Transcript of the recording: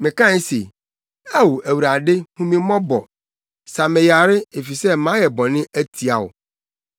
Mekae se, “Ao Awurade hu me mmɔbɔ; sa me yare, efisɛ mayɛ bɔne atia wo.”